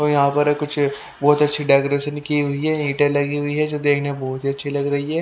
यहां पर कुछ -- बहुत अच्छी डेकोरेशन की हुई है ईटें लगी हुई है जो देखने में बहुत ही अच्छी लग रही है।